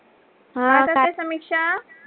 काय करते समीक्षा?